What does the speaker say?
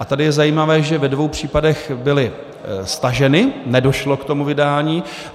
A tady je zajímavé, že ve dvou případech byly staženy, nedošlo k tomu vydání.